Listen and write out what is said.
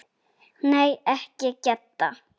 Nei, ekki Gedda.